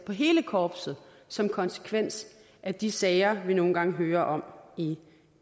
hele korpset som konsekvens af de sager vi nogle gange hører om i